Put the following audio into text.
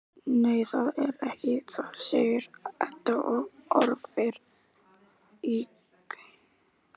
Nei, það er ekki það, segir Edda og horfir í gaupnir sér.